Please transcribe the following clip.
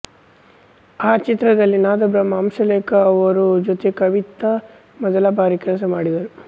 ಆ ಚಿತ್ರದಲ್ಲಿ ನಾದಬ್ರಹ್ಮ ಹಂಸಲೇಖ ಅವರ ಜೊತೆ ಕವಿತಾ ಮೊದಲ ಬಾರಿ ಕೆಲಸ ಮಾಡಿದರು